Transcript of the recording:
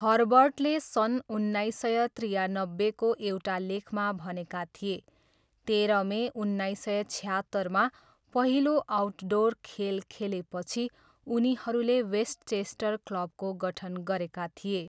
हर्बर्टले सन् उन्नाइस सय त्रियानब्बेको एउटा लेखमा भनेका थिए, तेह्र मे उन्नाइस सय छयहत्तरमा 'पहिलो' आउटडोर खेल खेलेपछि उनीहरूले वेस्टचेस्टर क्लबको गठन गरेका थिए।